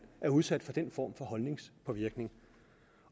er udsat for den form for holdningspåvirkning